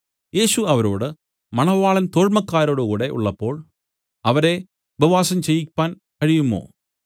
യേശു അവരോട് മണവാളൻ തോഴ്മക്കാരോടുകൂടെ ഉള്ളപ്പോൾ അവരെ ഉപവാസം ചെയ്യിപ്പാൻ കഴിയുമോ